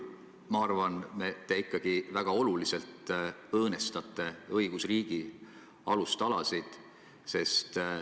Ma arvan, et te sel juhul ikkagi väga oluliselt õõnestate õigusriigi alustalasid.